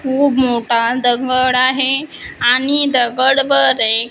खूप मोठा दगड आहे आणि दगडवर एक--